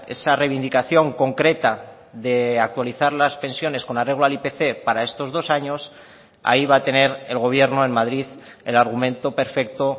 esa reivindicación concreta de actualizar las pensiones con arreglo al ipc para estos dos años ahí va a tener el gobierno en madrid el argumento perfecto